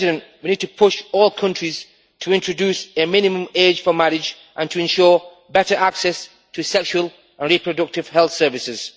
We need to push all countries to introduce a minimum age for marriage and to ensure better access to sexual and reproductive health services.